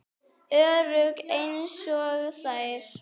Örugg einsog þær.